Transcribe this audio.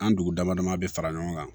An dugu dama dama bɛ fara ɲɔgɔn kan